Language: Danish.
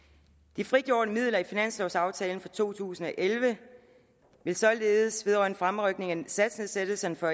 de frigjorte midler i finanslovaftalen for to tusind og elleve vil således vedrørende fremrykningen af satsnedsættelsen for